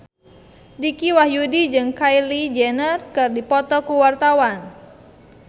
Dicky Wahyudi jeung Kylie Jenner keur dipoto ku wartawan